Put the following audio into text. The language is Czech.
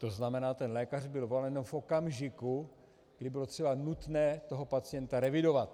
To znamená, ten lékař byl volán v okamžiku, kdy bylo třeba nutné toho pacienta revidovat.